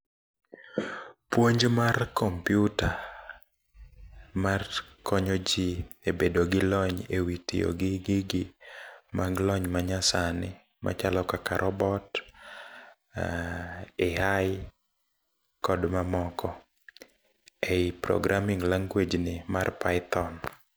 Puonj mar kompyuta, mar konyoji e bedo gi lony ewi tiyo gi gigi mag lony manyasani machalo kaka robot, AI kod mamoko ei programming language ni mar python.